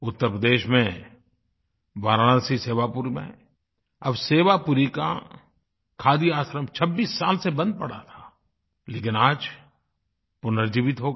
उत्तर प्रदेश में वाराणसी सेवापुर में अब सेवापुरी का खादी आश्रम 26 साल से बंद पड़ा था लेकिन आज पुनर्जीवित हो गया